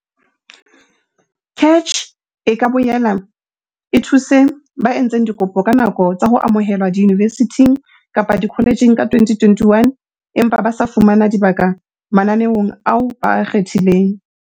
CACH e ka boela e thuse ba entseng dikopo ka nako tsa ho amohelwa diyunivesithing kapa dikoletjheng ka 2021 empa ba sa fumana dibaka mananeong ao ba a kgethileng.